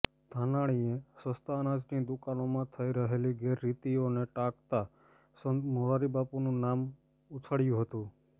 ધાનાણીએ સસ્તા અનાજની દૂકાનોમાં થઈ રહેલી ગેરરિતીઓને ટાંકતા સંત મોરારિ બાપુનું નામ ઉછાળ્યું હતું